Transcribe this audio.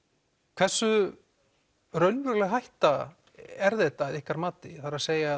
hversu raunveruleg hætta er þetta að ykkar mati það er